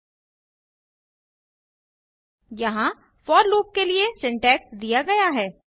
httpspoken tuitorialorg यहाँ for loop के लिए सिंटैक्स दिया गया है